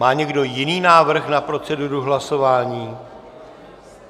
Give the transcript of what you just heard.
Má někdo jiný návrh na proceduru hlasování?